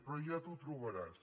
però ja t’ho trobaràs